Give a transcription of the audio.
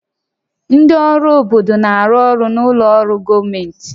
Ndị ọrụ obodo na-arụ ọrụ na ụlọ ọrụ gọọmentị